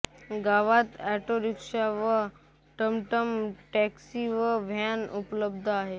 गावात ऑटोरिक्षा व टमटम टॅक्सी व व्हॅन उपलब्ध आहे